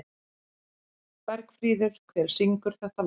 Bergfríður, hver syngur þetta lag?